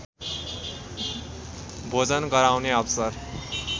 भोजन गराउने अवसर